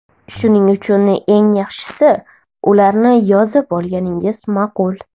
Shuning uchun, eng yaxshisi ularni yozib olganingiz ma’qul.